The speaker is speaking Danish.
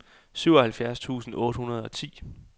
syvoghalvfjerds tusind otte hundrede og ti